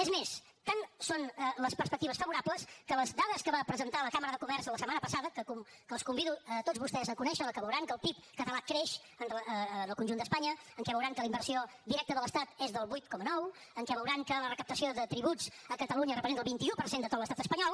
és més tan són les perspectives favorables que les dades que va presentar la cambra de comerç la setmana passada que els convido a tots vostès a conèixer en què veuran que el pib català creix en el conjunt d’espanya en què veuran que la inversió directa de l’estat és del vuit coma nou en què veuran que la recaptació de tributs a catalunya representa el vint un per cent de tot l’estat espanyol